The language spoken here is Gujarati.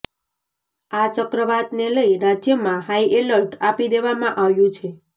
આ ચક્રવાતને લઈ રાજ્યમાં હાઈએલર્ટ આપી દેવામાં આવ્યું છે